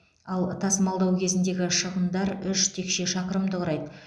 ал тасымалдау кезіндегі шығындар үш текше шақырымды құрайды